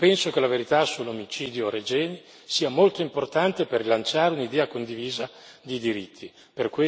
Io penso che la verità sull'omicidio Regeni sia molto importante per rilanciare un'idea condivisa di diritti.